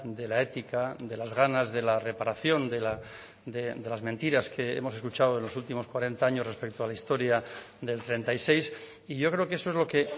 de la ética de las ganas de la reparación de las mentiras que hemos escuchado en los últimos cuarenta años respecto a la historia del treinta y seis y yo creo que eso es lo que